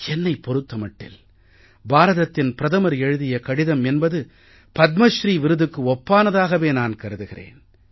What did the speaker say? என்னைப் பொறுத்த மட்டில் பாரதத்தின் பிரதமர் எழுதிய கடிதம் என்பது பத்மஸ்ரீ விருதுக்கு ஒப்பானதாகவே நான் கருதுகிறேன்